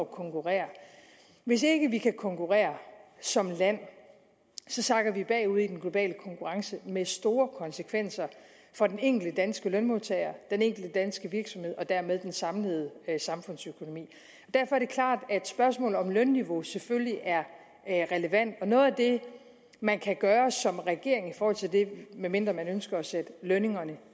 konkurrere hvis ikke vi kan konkurrere som land sakker vi bagud i den globale konkurrence med store konsekvenser for den enkelte danske lønmodtager den enkelte danske virksomhed og dermed den samlede samfundsøkonomi derfor er det klart at spørgsmålet om lønniveau selvfølgelig er relevant og noget af det man kan gøre som regering i forhold til det medmindre man ønsker at sætte lønningerne